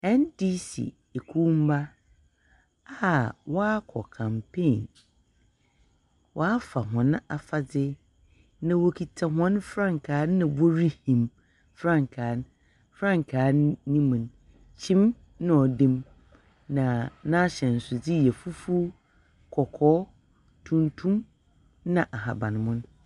Ndc ekuo mma a wɔakɔ campaign . Wɔafa hɔn afadze na wokita hɔn mfrankaa na worihim. Frankaa no, frankaa n no mu no, kyim na ɔdam, na n'ahyɛnsodze yɛ fufuw, kɔkɔɔ, tuntum, na ahaban mono.